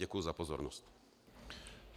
Děkuji za pozornost.